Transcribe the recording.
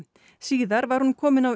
síðar var hún komin á